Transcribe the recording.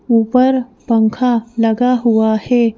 ऊपर पंखा लगा हुआ है।